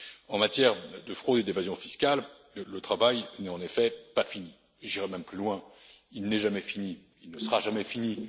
En matière de fraude et d'évasion fiscales, le travail n'est en effet pas fini, et j'irais même plus loin il n'est jamais fini et ne sera jamais fini.